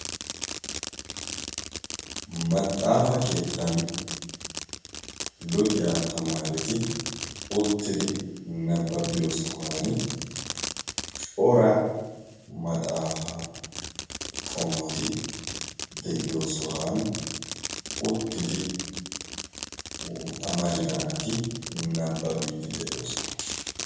maxaafa keettan luxiyaa tamaareti uttidi nabbabiyo sohan cora maxaafa qommoti de7iyo sohan uttidi amarida naati nabbabiittide7oosana